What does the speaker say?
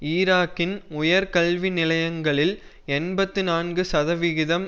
ஈராக்கின் உயர் கல்வி நிலையங்களில் எண்பத்தி நான்கு சதவிகிதம்